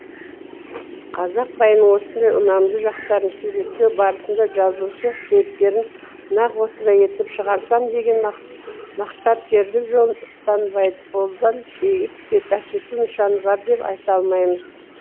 қазақ байының осындай ұнамды жақтарын суреттеу барысында жазушы кейіпкерін нақ осындай етіп шығарсам деген мақсаткерлік жолын ұстанбайды қолдан иіп әкету нышаны бар деп айта алмаймыз